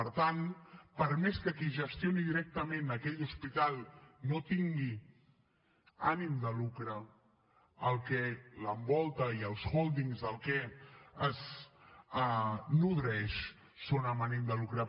per tant per més que qui gestioni directament aquell hospital no tingui ànim de lucre el que l’envolta i els hòldings de què es nodreix són amb ànim de lucre